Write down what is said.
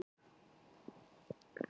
Hingað til hafa einungis erlend